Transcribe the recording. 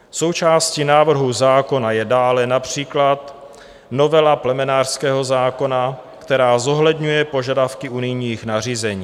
Součástí návrhu zákona je dále například novela plemenářského zákona, která zohledňuje požadavky unijních nařízení.